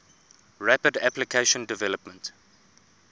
rapid application development